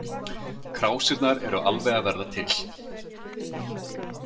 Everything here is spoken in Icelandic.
Krásirnar eru alveg að verða til